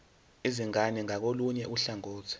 izingane ngakolunye uhlangothi